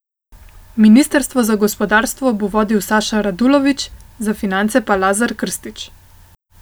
Ministrstvo za gospodarstvo bo vodil Saša Radulović, za finance pa Lazar Krstić.